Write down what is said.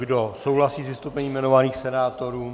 Kdo souhlasí s vystoupením jmenovaných senátorů?